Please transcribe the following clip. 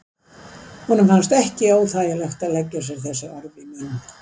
Honum fannst ekki óþægilegt að leggja sér þessi orð í munn.